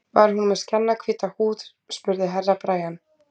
Var hún með skjannahvíta húð, spurði Herra Brian.